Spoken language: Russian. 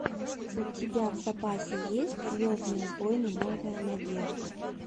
у тебя в запасе есть звездные войны новая надежда